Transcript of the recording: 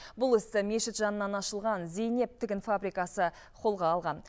бұл істі мешіт жанынан ашылған зейнеп тігін фабрикасы қолға алған